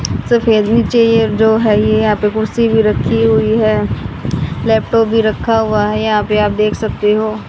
सफेद भी चाहिए जो है ये यहां पे कुर्सी भी रखी हुई है लैपटॉप भी रखा हुआ है यहां पे आप देख सकते हो।